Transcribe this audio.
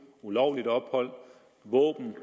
ulovligt ophold våben